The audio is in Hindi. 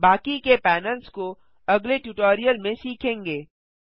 बाकी के पैनल्स को अगले ट्यूटोरियल में सीखेंगे